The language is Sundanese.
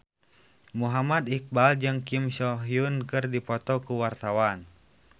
Muhammad Iqbal jeung Kim So Hyun keur dipoto ku wartawan